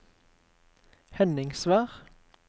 Henningsvær